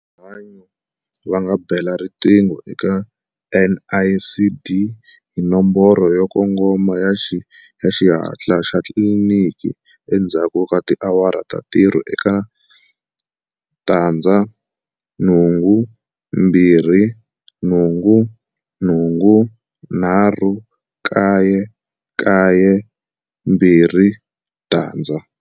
Rihanyo va nga bela riqingho eka NICD hi nomboro yo kongoma ya Xihatla xa Xitliliniki endzhaku ka tiawara ta ntirho eka 082 883 9920.